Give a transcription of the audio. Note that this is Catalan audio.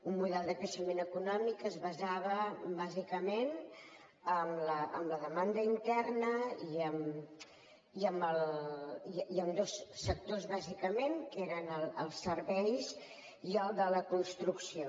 un model de creixement econòmic que es basava bàsicament en la demanda interna i en dos sectors bàsicament que eren els serveis i el de la construcció